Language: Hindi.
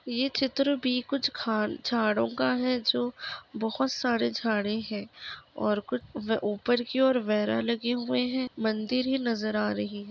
ये चित्र भी कुछ खान झाड़ों का है जो बहुत सारे झाड़े है और कुछ ऊपर की ओर वेरा लगे हुए है मंदिर ही नजर आ रही हैं।